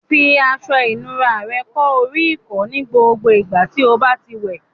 Fi aṣọ ìnura rẹ kó oríkọ̀ọ́ ní gbogbo ìgbà tí o bá ti ń wẹ̀